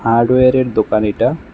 হার্ডওয়্যারের দোকান এটা।